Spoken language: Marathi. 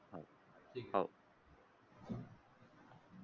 हो.